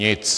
Nic.